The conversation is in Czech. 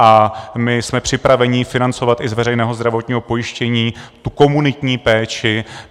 A my jsme připraveni financovat i z veřejného zdravotního pojištění tu komunitní péči.